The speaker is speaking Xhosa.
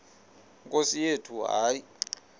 nkosi yethu hayi